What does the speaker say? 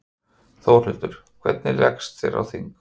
Þórhildur: Hvernig líst þér á þig?